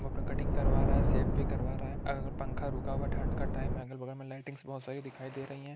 वो अपना कटिंग करवा रहा है शेव भी करवा रहा है और पंखा रुका हुआ है ठण्ड का टाइम है अगल-बगल में लाइटिंग बहुत सारी दिखाई दे रही हैं।